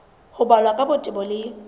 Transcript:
ho balwa ka botebo le